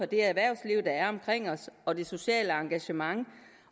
det erhvervsliv der er omkring os og det sociale engagement